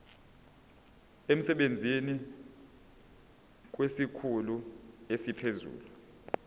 emsebenzini kwesikhulu esiphezulu